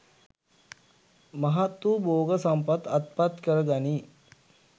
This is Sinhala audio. මහත් වූ භෝග සම්පත් අත්පත් කරගනියි.